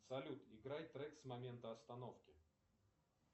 салют играй трек с момента остановки